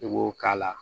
I b'o k'a la